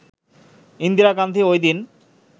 ইন্দিরা গান্ধী ওইদিন